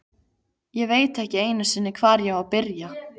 Ég veit ekki einu sinni, hvar ég á að byrja.